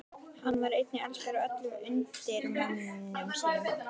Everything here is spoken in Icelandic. Hann var einnig elskaður af öllum undirmönnum sínum.